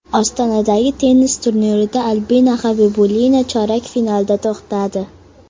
Ostonadagi tennis turnirida Albina Xabibulina chorak finalda to‘xtadi.